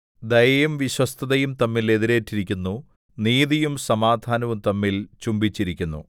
ദയയും വിശ്വസ്തതയും തമ്മിൽ എതിരേറ്റിരിക്കുന്നു നീതിയും സമാധാനവും തമ്മിൽ ചുംബിച്ചിരിക്കുന്നു